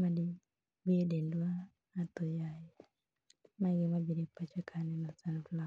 madibi e dendwa aoyaye.